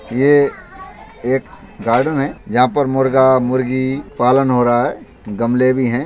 ये एक गार्डन है जहाँ पर मुर्गा मुर्गी पालन हो रहा है। गमले भी हैं।